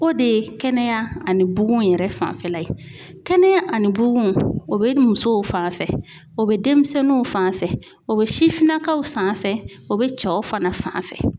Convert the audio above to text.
O de ye kɛnɛya ani bugun yɛrɛ fanfɛla ye. Kɛnɛya ani bugun o be musow fan fɛ o be denmisɛnninw fan fɛ ,o be sifinnakaw fan fɛ, o be cɛw fana fan fɛ.